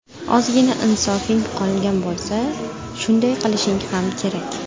Ozgina insofing qolgan bo‘lsa, shunday qilishing ham kerak.